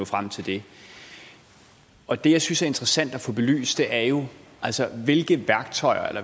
frem til det og det jeg synes er interessant at få belyst er jo hvilke